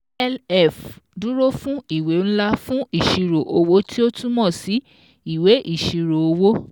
LF dúró fún ìwé ńlá fun ìṣirò owó tí ó túmọ̀ sí ìwé ìṣirò owó